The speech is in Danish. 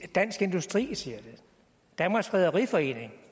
dansk industri siger det og danmarks rederiforening